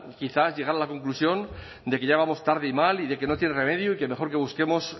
quizás llegar a la conclusión de que ya vamos tarde y mal y de que no tiene remedio y que mejor que busquemos